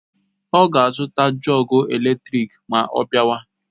Ọ ga azuta jọgu eletrik ma ọ biawa